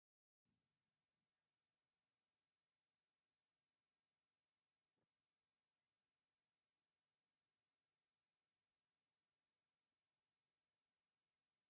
አብ ዝተፈላለዩ ዓይነትን ሕብሪን ዘለዎም ክዳውንቲን ቦርሳታትን ንክሽየጡ አብ ዝተፈላለዩ ቦታታት ተንጠልጢሎም ይርከቡ፡፡ ናይ ሓደ ሜትሮ ክዳን ዋጋ ክንደይ እዩ?